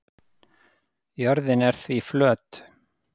Jörðin er því flöt.